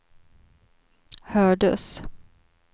hördes